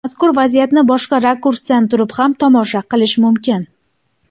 Mazkur vaziyatni boshqa rakursdan turib ham tomosha qilish mumkin.